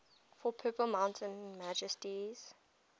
for purple mountain majesties